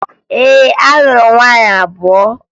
Ee, alụrụ m nwaanyị abụọ